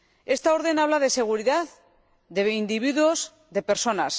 Esta orden habla de seguridad, de individuos, de personas.